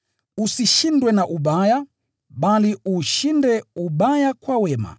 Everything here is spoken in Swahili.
Usishindwe na ubaya, bali uushinde ubaya kwa wema.